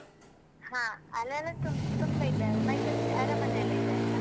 ಹಾ ಅಲ್ಲೆಲ್ಲಾ ತುಂಬ ತುಂಬಾ ಇದೆಲ್ಲಾ ಮೈಸೂರ್ ಅರಮನೆ ಎಲ್ಲಾ ಇದೆ ಅಲ್ಲ.